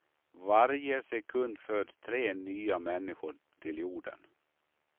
Varje sekund föds tre nya människor till jorden.